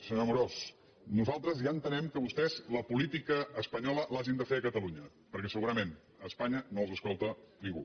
senyor amorós nosaltres ja entenem que vostès la política espanyola l’hagin de fer a catalunya perquè segurament a espanya no els escolta ningú